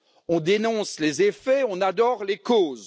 On dénonce les effets, on adore les causes...